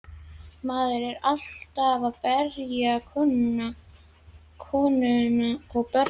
Maðurinn er alltaf að berja konuna og börnin.